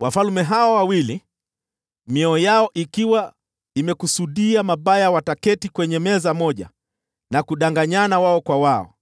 Wafalme hawa wawili, mioyo yao ikiwa imekusudia mabaya, wataketi kwenye meza moja na kudanganyana wao kwa wao,